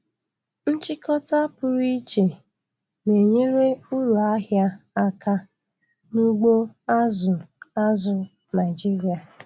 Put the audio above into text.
Nchịkọta pụrụ iche na-enyere uru ahịa aka n'ugbo azụ̀ azụ̀ Naịjiria.